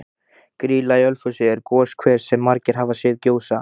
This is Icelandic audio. Grýla í Ölfusi er goshver sem margir hafa séð gjósa.